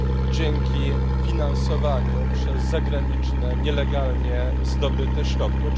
dzięki finansowaniu przez zagraniczne, nielegalnie zdobyte środki.